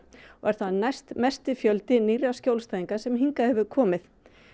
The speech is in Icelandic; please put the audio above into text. og er það næstmesti fjöldi nýrra skjólstæðinga sem hingað hefur komið